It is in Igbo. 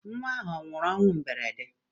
Nnwa ahụ anwụrụ ọnwụ mberede?